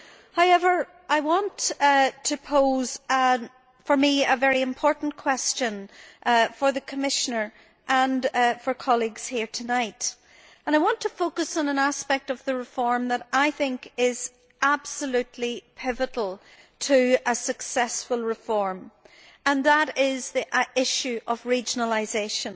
However, I want to pose what is for me a very important question for the Commissioner and for colleagues here tonight. I want to focus on an aspect of the reform that I think is absolutely pivotal to a successful reform, and that is the issue of regionalisation.